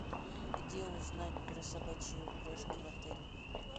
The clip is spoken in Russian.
где узнать про собачьи упряжки в отеле